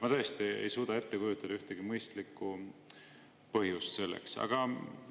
Ma tõesti ei suuda ette kujutada ühtegi mõistlikku põhjust sellele.